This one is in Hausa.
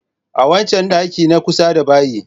A wancan ɗakin na kusa da bayi.